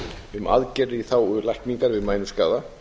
um aðgerðir í þágu lækningar við mænuskaða